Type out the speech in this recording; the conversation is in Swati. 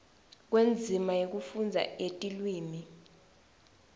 kwendzima yekufundza yetilwimi